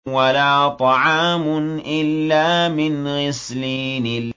وَلَا طَعَامٌ إِلَّا مِنْ غِسْلِينٍ